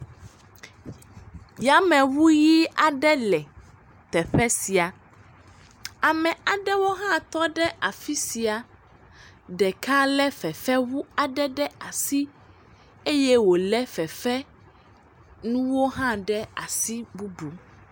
Yameŋu ʋi aɖe le teƒe sia, ame aɖewo hã tɔ ɖe afi sia, ɖeka lé fefeŋu aɖe ɖe asi eye wòlé fefenuwo hã ɖe asi bubu.